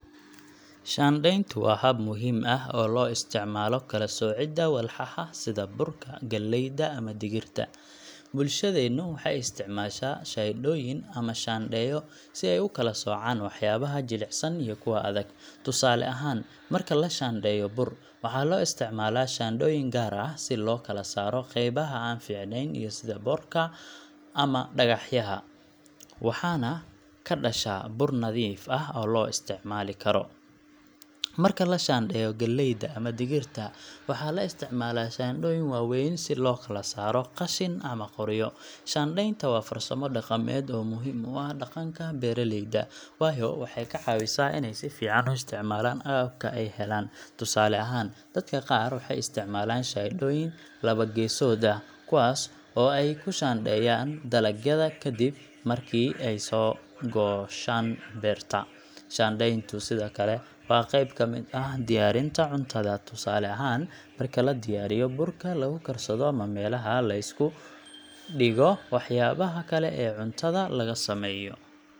Shaandhayntu waa hab muhiim ah oo loo isticmaalo kala soocidda walxaha sida burka, galleyda, ama digirta. Bulshadeennu waxay isticmaashaa shaandhooyin ama shaandheeyo si ay u kala soocaan waxyaabaha jilicsan iyo kuwa adag. Tusaale ahaan, marka la shaandheeyo bur, waxaa loo isticmaalaa shaandhooyin gaar ah si loo kala saaro qeybaha aan fiicnayn sida boodhka ama dhagaxa, waxaana ka dhasha bur nadiif ah oo la isticmaali karo. Marka la shaandheeyo galleyda ama digirta, waxaa la isticmaalaa shaandhooyin waaweyn si loo kala saaro qashin ama qoryo. Shaandhaynta waa farsamo dhaqameed oo muhiim u ah dhaqanka beeraleyda, waayo waxay ka caawisaa inay si fiican u isticmaalaan agabka ay helaan. Tusaale ahaan, dadka qaar waxay isticmaalaan shaandhooyin labo-geesood ah, kuwaas oo ay ku shaandheeyaan dalagyada kadib markii ay ka soo gooshaan beerta. Shaandhayntu sidoo kale waa qeyb ka mid ah diyaarinta cuntada, tusaale ahaan marka la diyaarinayo burka lagu karsado ama meelaha la isku dhigo waxyaabaha kale ee cuntada laga sameeyo.